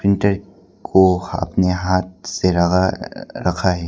Printer को हाथ में हाथ से लगा रखा है।